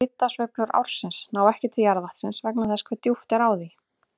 Hitasveiflur ársins ná ekki til jarðvatnsins vegna þess hve djúpt er á því.